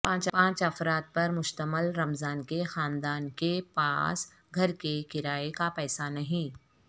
پانچ افراد پر مشتمل رمضان کے خاندان کے پاس گھر کے کرائے کا پیسہ نہیں